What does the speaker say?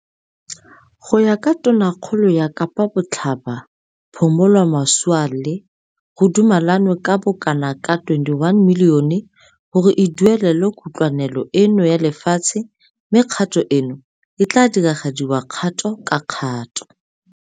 Go ya ka Tonakgolo ya Kapa Botlhaba Phumulo Masualle, go dumelwane ka bokanaka R21 milione gore e duelelwe kutlwanelo eno ya lefatshe mme kgato eno e tla diragadiwa kgato ka kgato.